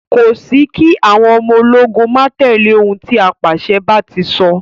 Kò sí kí àwọn ọmọ ológun máa tẹ̀lẹ́ òun tí apàṣẹ bá ti sọ.